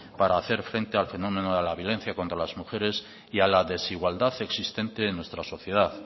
para hacer frente al fenómeno de la violencia contra las mujeres y a la desigualdad existente en nuestra sociedad